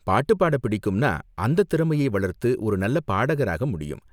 பாட்டு பாட பிடிக்கும்ன்னா, அந்தத் திறமையை வளர்த்து ஒரு நல்ல பாடகராக முடியும்.